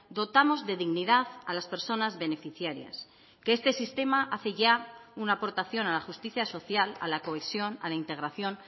dotamos de dignidad a las personas beneficiarias que este sistema hace ya una aportación a la justicia social a la cohesión a la integración